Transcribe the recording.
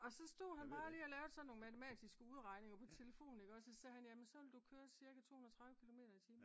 og så stod han bare lige og lavede sådan nogle matematiske udregninger på telefonen ikå så sagde jamen så ville du køre cirka 230 kilometer i timen